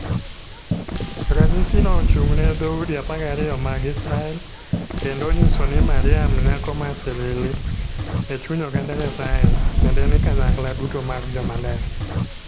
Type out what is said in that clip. Ranyisino ochung'ne dhoudi 12 mag Israel kendo onyiso ni Mariam Nyako ma Silili e chuny oganda Nyasaye, tiende ni kanyakla duto mar joma ler.